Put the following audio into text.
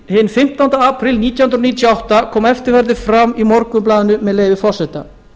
hinn fimmtánda apríl nítján hundruð níutíu og átta kom eftirfarandi fram í morgunblaðinu með leyfi forseta